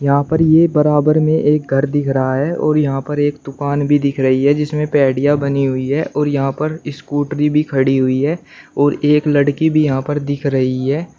यहां पर यह बराबर में एक घर दिख रहा है और यहां पर एक दुकान भी दिख रही है जिसमें पैडिया बनी हुई है और यहां पर स्कूटरी भी खड़ी हुई है और एक लड़की भी यहां पर दिख रही है।